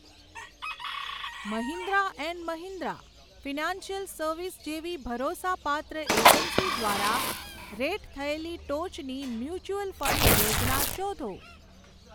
Mahindra and Mahindra financial service જેવી ભરોસાપાત્ર agency દ્વારા રેટ થયેલી ટોચની મ્યુચ્યુઅલ ફંડ યોજના શોધો.